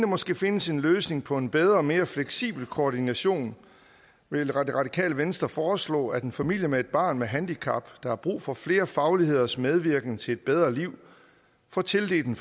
måske findes en løsning på en bedre og mere fleksibel koordination vil radikale venstre foreslå at en familie med et barn med handicap der har brug for flere fagligheders medvirken til et bedre liv får tildelt en